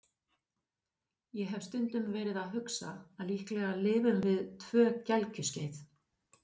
Ég hef stundum verið að hugsa að líklega lifum við tvö gelgjuskeið.